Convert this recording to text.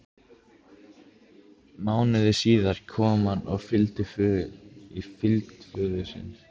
Mánuði síðar kom hann í fylgd föður síns.